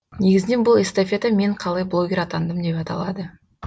негізінен бұл эстафета мен қалай блогер атандым деп аталады